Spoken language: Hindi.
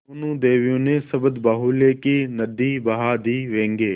दोनों देवियों ने शब्दबाहुल्य की नदी बहा दी व्यंग्य